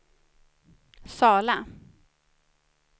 Sala